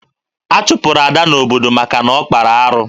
A chụpụrụ Ada n'obodo maka na ọ kpara arụ